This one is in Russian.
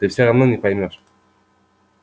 ты всё равно не поймёшь